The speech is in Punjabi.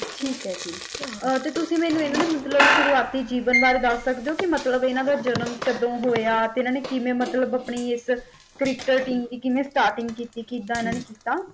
ਠੀਕ ਆ ਜੀ ਅਤੇ ਤੁਸੀ ਮੈਨੂੰ ਇਹਨਾਂ ਦੇ ਮਤਲੱਬ ਸ਼ੁਰੂਆਤੀ ਜੀਵਨ ਬਾਰੇ ਦੱਸ ਸਕਦੇ ਹੋ ਕੇ ਮਤਲਬ ਇਹਨਾਂ ਦਾ ਜਨਮ ਕਦੋ ਹੋਇਆ ਅਤੇ ਇਹਨਾਂ ਨੇ ਕਿਵੇਂ ਮਤਲਬ ਆਪਨੀ ਇੱਕਮ ਟੀਮ ਦੀ ਕਿਵੇਂ ਸਟਰਟਿੰਗ ਕੀਤੀ ਕਿੱਦਾਂ ਇਹਨਾਂ ਨੇ ਕੀਤਾ।